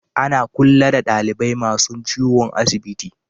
Ana kulla da dalibai masun ciwo a'asibiti.